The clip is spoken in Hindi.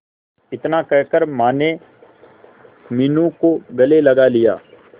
इतना कहकर माने मीनू को गले लगा लिया